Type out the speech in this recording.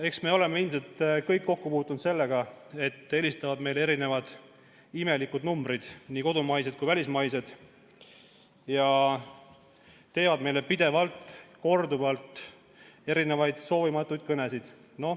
Eks me kõik oleme ilmselt kokku puutunud sellega, et meile helistatakse imelikelt numbritelt, nii kodumaistelt kui ka välismaistelt, ja tehakse korduvaid soovimatuid kõnesid.